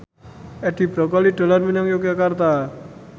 Edi Brokoli dolan menyang Yogyakarta